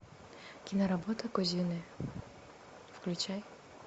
киноработа кузины включай